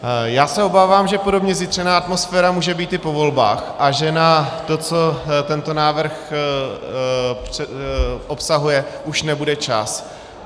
Já se obávám, že podobně zjitřená atmosféra může být i po volbách a že na to, co tento návrh obsahuje, už nebude čas.